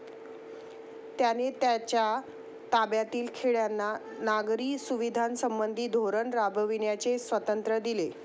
त्याने त्याच्या ताब्यातील खेड्यांना नागरी सुविधांसंबंधी धोरण राबविण्याचे स्वातंत्र्य दिले.